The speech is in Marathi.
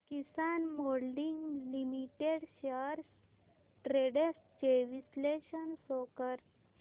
किसान मोल्डिंग लिमिटेड शेअर्स ट्रेंड्स चे विश्लेषण शो कर